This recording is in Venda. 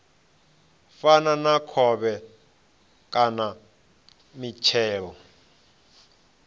fana na khovhe kana mitshelo